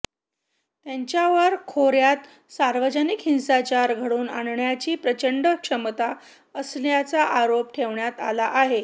त्यांच्यावर खोऱ्यात सार्वजनिक हिंसाचार घडवून आणण्याची प्रचंड क्षमता असल्याचा आरोप ठेवण्यात आला आहे